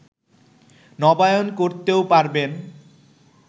নবায়ন করতেও পারবেন